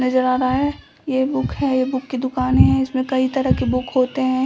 नजर आ रहा है ये बुक है ये बुक की दुकानें हैं इसमें कई तरह के बुक होते हैं।